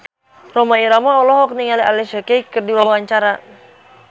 Rhoma Irama olohok ningali Alicia Keys keur diwawancara